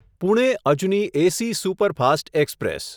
Pune Ajni AC superfast express